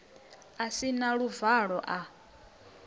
a si na luvalo a